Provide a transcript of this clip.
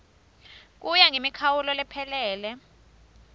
kuya ngemikhawulo lephelele